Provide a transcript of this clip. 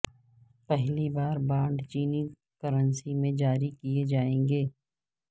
پہلی بار بانڈ چینی کرنسی میں جاری کئے جائیں گے